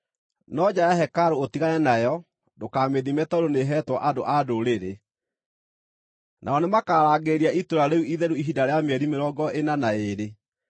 No nja ya hekarũ ũtigane nayo, ndũkamĩthime tondũ nĩĩhetwo andũ-a-Ndũrĩrĩ. Nao nĩmakarangĩrĩria itũũra rĩu itheru ihinda rĩa mĩeri mĩrongo ĩna na ĩĩrĩ.